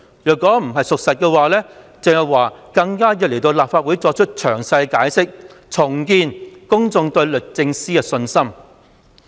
如此說法並非事實，鄭若驊更有需要前來立法會作詳細解釋，重建公眾對律政司的信心。